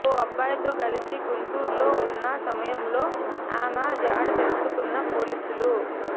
ఓ అబ్బాయితో కలిసి గుంటూరులో ఉన్న సమయంలో ఆమె జాడ తెలుసుకున్న పోలీసులు